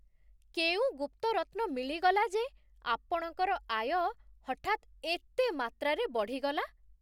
କେଉଁ ଗୁପ୍ତ ରତ୍ନ ମିଳିଗଲା ଯେ ଆପଣଙ୍କର ଆୟ ହଠାତ୍ ଏତେ ମାତ୍ରାରେ ବଢ଼ିଗଲା?